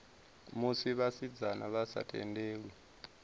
musi vhasidzana vha sa tendelwi